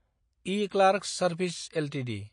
eClerx services Ltd